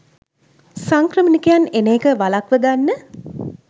සංක්‍රමණිකයන් එන එක වලක්වගන්න